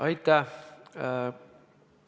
Aitäh!